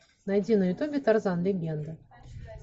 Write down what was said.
найди на ютубе тарзан легенда